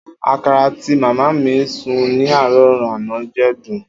Akara ti mama mi sun ni aro ana je dun.